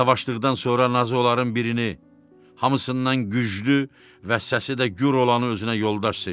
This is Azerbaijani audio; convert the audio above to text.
Savaşdıqdan sonra nazı onların birini, hamısından güclü və səsi də gür olanı özünə yoldaş seçdi.